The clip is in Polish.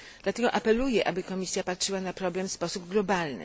Dlatego apeluję, aby Komisja patrzyła na problem w sposób globalny.